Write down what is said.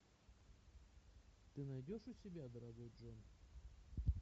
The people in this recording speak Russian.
ты найдешь у себя дорогой джон